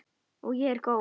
Og ég er góð.